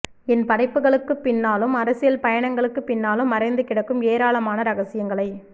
என் படைப்புகளுக்குப் பின்னாலும் அரசியல் பயணங்களுக்குப் பின்னாலும் மறைந்துகிடக்கும் ஏராளமான ரகசியங்களை